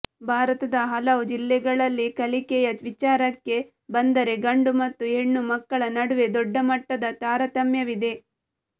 ಭಾರತದ ಹಲವು ಜಿಲ್ಲೆಗಳಲ್ಲಿ ಕಲಿಕೆಯ ವಿಚಾರಕ್ಕೆ ಬಂದರೆ ಗಂಡು ಮತ್ತು ಹೆಣ್ಣು ಮಕ್ಕಳ ನಡುವೆ ದೊಡ್ಡಮಟ್ಟದ ತಾರತಮ್ಯವಿದೆ